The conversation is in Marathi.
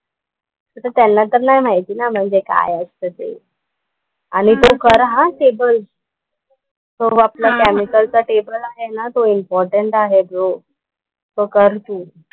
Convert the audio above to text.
तर ते त्यांना तर नाही माहिती ना म्हणजे काय असतं ते. आणि तू कर हा टेबल. तो आपला केमिकलचा टेबल आहे ना तो इम्पॉर्टन्ट आहे तो. तो कर तू.